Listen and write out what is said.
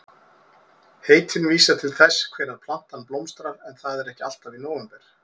Heitin vísa til þess hvenær plantan blómstrar en það er ekki alltaf í nóvember.